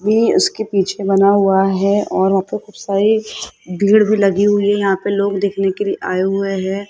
We उसके पीछे बना हुआ है और वहां पर खूब सारे भीड़ भी लगी हुई है यहां पे लोग देखने के लिए आए हुए है।